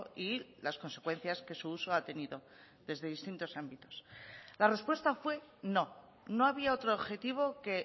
y las consecuencias que su uso ha tenido desde distintos ámbitos la respuesta fue no no había otro objetivo que